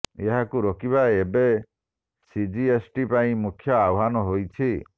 ଏହାକୁ ରୋକିବା ଏବେ ସିଜିଏସ୍ଟି ପାଇଁ ମୁଖ୍ୟ ଆହ୍ୱାନ ହୋଇଛି